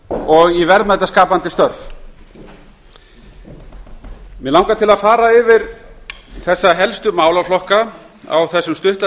og í verðmætaskapandi störf mig langar til að fara yfir helstu málaflokkana á þeim stutta